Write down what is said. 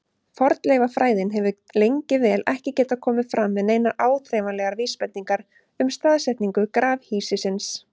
Fornleifafræðin hefur lengi vel ekki getað komið fram með neinar áþreifanlegar vísbendingar um staðsetningu grafhýsisins.